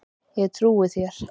Ég trúi þér